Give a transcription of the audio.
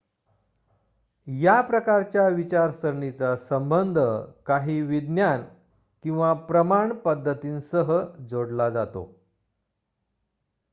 या प्रकारच्या विचारसरणीचा संबंध काही विज्ञान किंवा प्रमाण पद्धतींसह जोडला जातो